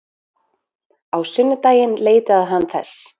Á sunnudaginn leitaði hann þess.